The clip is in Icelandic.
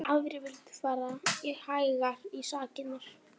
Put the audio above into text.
Aðrir vildu fara hægar í sakirnar.